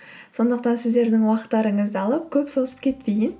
сондықтан сіздердің уақыттарыңызды алып көп созып кетпейін